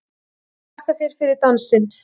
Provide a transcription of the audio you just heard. Þakka þér fyrir dansinn!